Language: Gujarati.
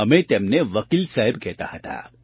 અમે તેમને વકીલ સાહેબ કહેતા હતા